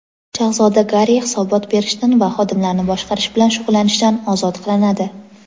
Shahzoda Garri hisobot berishdan va xodimlarni boshqarish bilan shug‘ullanishdan ozod qilinadi.